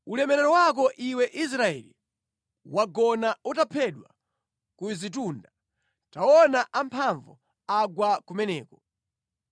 “Ulemerero wako iwe Israeli, wagona utaphedwa ku zitunda. Taonani amphamvu agwa kumeneko!